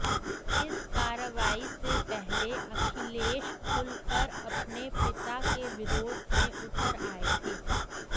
इस कार्रवाई से पहले अखिलेश खुलकर अपने पिता के विरोध में उतर आये थे